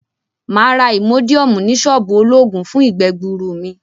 Maa ra imodium ni soobu ologun fun igbe-gbuuru mi.